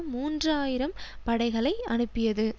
மூன்று ஆயிரம் படைகளை அனுப்பியது